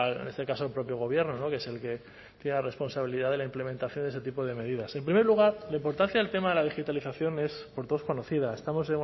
en este caso al propio gobierno que es el que tiene la responsabilidad de la implementación de este tipo de medidas en primer lugar la importancia del tema de la digitalización es por todos conocida estamos